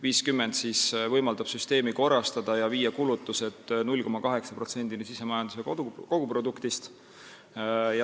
50 miljonit võimaldab süsteemi korrastada ja suurendada kulutusi 0,8%-ni SKT-st.